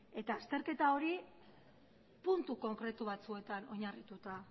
eta azterketa hori puntu konkretu batzuetan oinarrituta